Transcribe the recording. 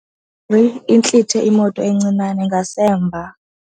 intlithe imoto encinane ngasemva.